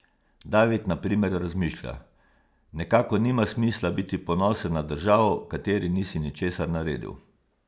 David na primer razmišlja: 'Nekako nima smisla biti ponosen na državo, v kateri nisi ničesar naredil.